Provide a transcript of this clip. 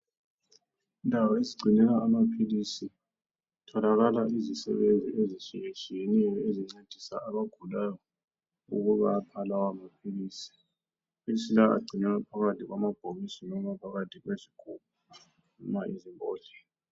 Indawo ezigcinela amaphilisi kutholakala izisebenzi ezitshiyetshiyeneyo ezincedisa abagulayo ukubapha lawa maphilisi, amaphilisi lawa agcinelwa phakathi kwamabhokisi loba phakathi kwezigubhu noma izimbodlela.